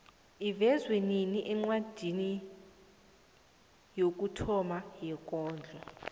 ivezwe nini incwadi yokuthoma yekondlo